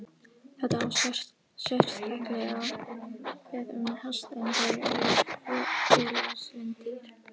Þetta á sérstaklega við um hesta en þeir eru félagslynd dýr.